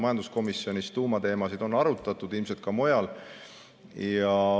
Majanduskomisjonis on tuumateemasid arutatud, ilmselt on arutatud ka mujal.